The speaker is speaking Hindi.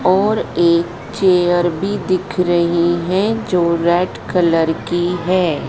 एक चेयर भी दिख रही है जो रेड कलर की है।